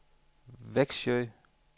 Vexjö